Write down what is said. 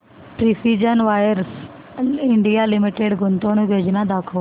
precision wires India limited गुंतवणूक योजना दाखव